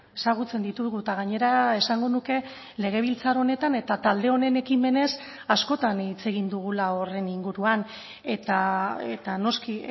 ezagutzen ditugu eta gainera esango nuke legebiltzar honetan eta talde honen ekimenez askotan hitz egin dugula horren inguruan eta noski